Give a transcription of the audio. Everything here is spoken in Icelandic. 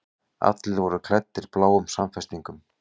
Allir voru klæddir bláum samfestingum.